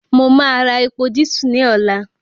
Mo máa ra epo dísù ní ọ̀la